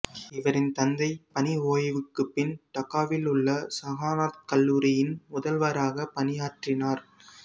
இவரின் தந்தை பணி ஓய்வுக்குப் பின் டாக்காவிலுள்ள சகன்னாத் கல்லூரியின் முதல்வராக பணியாற்றினார்